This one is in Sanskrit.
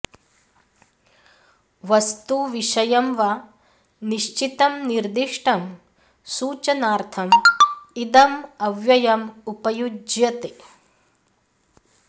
वस्तु विषयं वा निश्चितं निर्दिष्टं सूचनार्थम् इदम् अव्ययम् उपयुज्यते